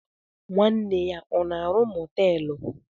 Nwanne ya o na-arụ moteelu?